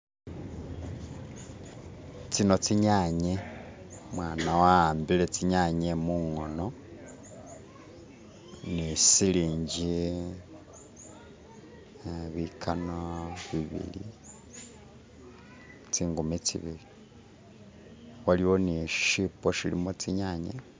Tsino tsinyanye, umwana wa'ambile tsinyanye mungono ni silingi uh tsingumi tsibili, waliwo neshishipo shilimo tsinyanya.